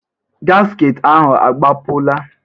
gasket ahụ agbapụla?